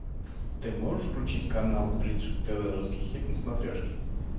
ты можешь включить канал бридж тв русский хит на смотрешке